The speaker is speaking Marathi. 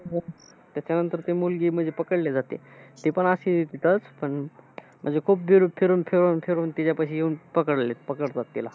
त्याच्यानंतर ती मुलगी म्हणजे पकडली जाते. ती पण अशी इथंच पण अं म्हणजे खूप गोल फिरवून खेळवून फिरवून तिच्यापाशी येऊन पकडले पकडतात तिला.